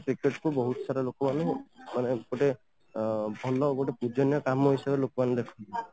cricket କୁ ବହୁତ ସାରା ଲୋକ ମାନେ ମାନେ ଗୋଟେ ଅ ଭଲ ଗୋଟେ ପୂଜନୀୟ କାମ ହିସାବରେ ଲୋକମାନେ ଦେଖୁଛନ୍ତି